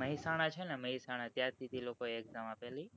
મહેસાણા છે ને mehsana ત્યાં થી અ લોકો એ exam આપે લી